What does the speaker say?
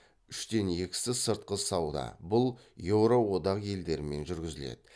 үштен екісі сыртқы сауда бұл еуро одақ елдерімен жүргізіледі